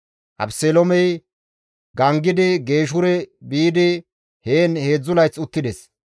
Abeseloomey gangidi Geeshure biidi heen 3 layth uttides.